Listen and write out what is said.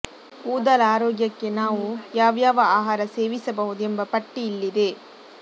ಕೂದಲ ಆರೋಗ್ಯಕ್ಕೆ ನಾವು ಯಾವ್ಯಾವ ಆಹಾರ ಸೇವಿಸಬಹುದು ಎಂಬ ಪಟ್ಟಿ ಇಲ್ಲಿದೆ